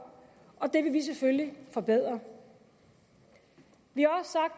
og det vil vi selvfølgelig forbedre vi